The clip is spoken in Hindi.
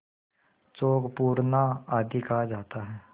चौक पूरना आदि कहा जाता है